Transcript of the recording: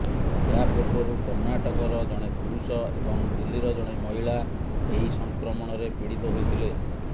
ଏହାପୂର୍ବରୁ କର୍ଣ୍ଣାଟକର ଜଣେ ପୁରୁଷ ଏବଂ ଦିଲ୍ଲୀର ଜଣେ ମହିଳା ଏହି ସଂକ୍ରମଣରେ ପୀଡିତ ହୋଇଥିଲେ